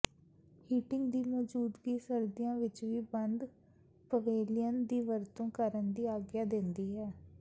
heating ਦੀ ਮੌਜੂਦਗੀ ਸਰਦੀਆਂ ਵਿੱਚ ਵੀ ਬੰਦ ਪਵੇਲੀਅਨ ਦੀ ਵਰਤੋਂ ਕਰਨ ਦੀ ਆਗਿਆ ਦਿੰਦੀ ਹੈ